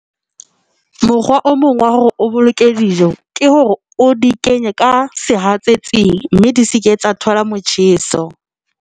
Mokgwa o mong wa hore o boloke dijo ke hore o di kenye ka sehatsetsing mme di se ke tsa thola motjheso.